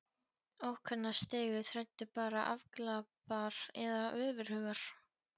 Ókunna stigu þræddu bara afglapar eða ofurhugar.